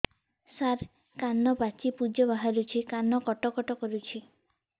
ସାର କାନ ପାଚି ପୂଜ ବାହାରୁଛି କାନ କଟ କଟ କରୁଛି